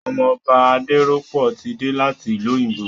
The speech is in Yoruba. Ọmọ Ọba Adérọ́pò ti dé láti ìlú òyìnbó